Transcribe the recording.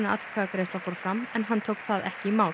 atkvæðagreiðsla fór fram en hann tók það ekki í mál